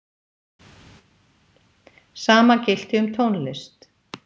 sama gilti um tónlist